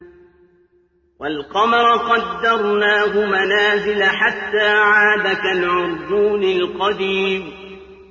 وَالْقَمَرَ قَدَّرْنَاهُ مَنَازِلَ حَتَّىٰ عَادَ كَالْعُرْجُونِ الْقَدِيمِ